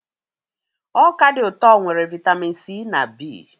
Ọka dị ụtọ nwere vitamin C na B.